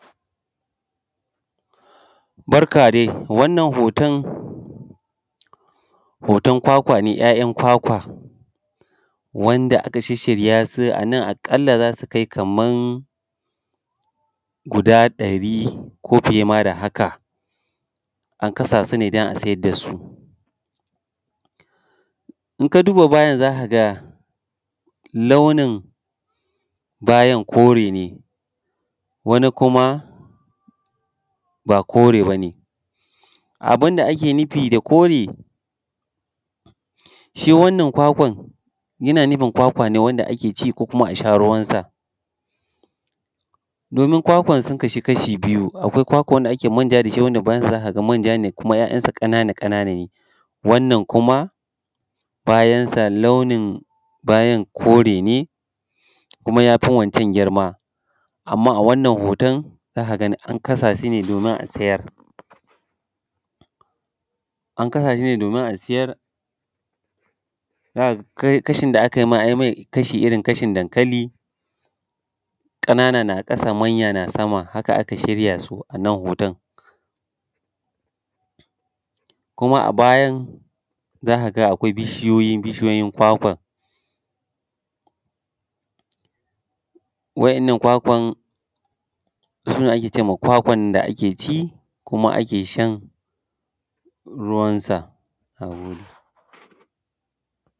Barka dai, wannan hoton kwakwa ne ‘ya’yan kwakwa wanda aka shishshirya su. A nan a ƙalla za su kai kaman guda ɗari ne ko fiye da haka. An kasa su ne don a siyar da su. In ka duba bayan za ka ga launin bayan kore ne, wani kuma ba kore ba ne, abun da ake nufi da kore, shi wannan kwakwan yana nufin kwakwa ne wanda ake ci, ko kuma a sha ruwansa. Domin kwakwan sun kasu kashi biyu, akwai kwakwan wanda ake manja da shi, wanda bayan za ka ga manja kuma ‘ya’yan ƙanana ƙanana ne. Wannan kuma bayan sa launin bayan kore ne, kuma ya fi waccan girma. Amma a wannan hoton z aka ga an kasa su ne domin a siyar. An kasa su ne domin a siyar, za ka ga kashin da aka mai an yi mai kashi irin kashin dankali ƙanana na ƙasa manya na sama haka aka shirya su. A nan hoton kuma a bayan za ka ga akwai bishiyoyi kwakwan, wa'inan nan kwakwan su ne ake ce ma kwakwan da ake ci kuma ake shan ruwansa. Na gode.